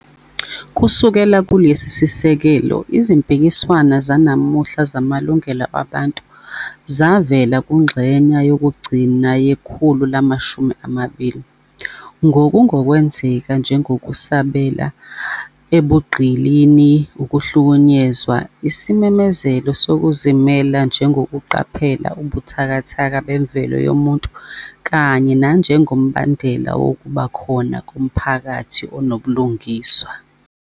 Kusukela kulesi sisekelo, izimpikiswano zanamuhla zamalungelo abantu zavela kungxenye yokugcina yekhulu lamamashumi amabili, ngokungokwenzeka njengokusabela ebugqilini, ukuhlukunyezwa, isimemezelo sokuzimela njengokuqaphela ubuthakathaka bemvelo yomuntu kanye nanjengombandela wokuba khona komphakathi onobulungiswa.